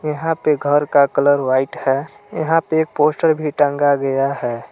यहाँ पे घर का कलर व्हाइट है यहां पे एक पोस्टर भी टांगा गया है।